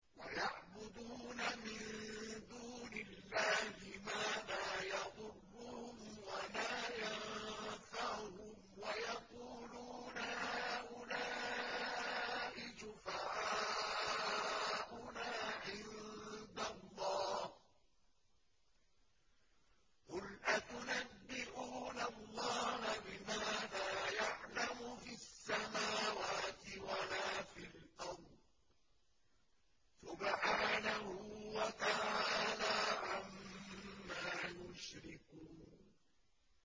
وَيَعْبُدُونَ مِن دُونِ اللَّهِ مَا لَا يَضُرُّهُمْ وَلَا يَنفَعُهُمْ وَيَقُولُونَ هَٰؤُلَاءِ شُفَعَاؤُنَا عِندَ اللَّهِ ۚ قُلْ أَتُنَبِّئُونَ اللَّهَ بِمَا لَا يَعْلَمُ فِي السَّمَاوَاتِ وَلَا فِي الْأَرْضِ ۚ سُبْحَانَهُ وَتَعَالَىٰ عَمَّا يُشْرِكُونَ